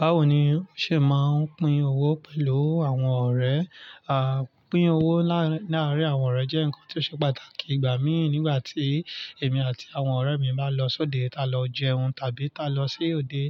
Báwo ni ó ṣe máa ń pín owó pẹ̀lú àwọn ọ̀rẹ́? À, pín owó láàárín àwọn ọ̀rẹ́ jẹ́ ǹkan tí ó ṣe pàtàkì ìgbà mí ì nígbà tí èmi àti àwọn ọ̀rẹ́ mi bá lọ sóde, ta lọ jẹun tàbí ta lọ sí òde.